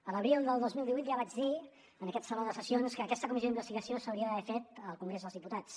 a l’abril del dos mil divuit ja vaig dir en aquest saló de sessions que aquesta comissió d’investigació s’hauria d’haver fet al congrés dels diputats